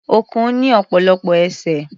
Ọ̀kùn ní ọ̀pọ̀lọpọ̀ ẹsẹ̀.